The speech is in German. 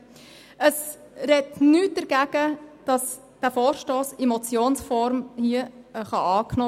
Es spricht nichts dagegen, den Vorstoss in Motionsform anzunehmen.